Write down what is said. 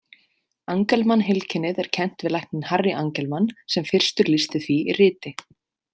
Angelman-heilkennið er kennt við lækninn Harry Angelman sem fyrstur lýsti því í riti.